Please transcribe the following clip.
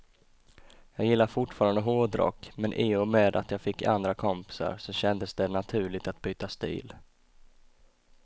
Jag gillar fortfarande hårdrock, men i och med att jag fick andra kompisar så kändes det naturligt att byta stil.